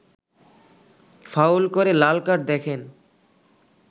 foul করে লাল card দেখেন